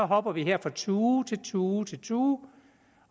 hopper vi fra tue til tue til tue